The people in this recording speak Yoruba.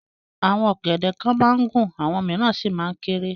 Àwọn ọ̀gẹ̀dẹ̀ kan máa ń gùn àwọn mìíràn sì máa ń kéré.